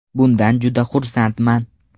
Bundan juda xursandman.